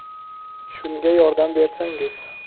Shunga yordam bersangiz.